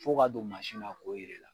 F'o k'a don maasi na k'o yir'e la